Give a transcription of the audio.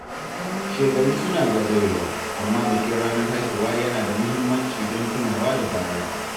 Shekaru suna zagayowa, amma bikin ranar haihuwa yana da muhimmanci don tunawa da baya.